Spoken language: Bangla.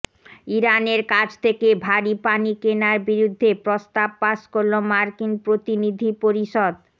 ইরানের কাছ থেকে ভারি পানি কেনার বিরুদ্ধে প্রস্তাব পাস করল মার্কিন প্রতিনিধি পরিষদ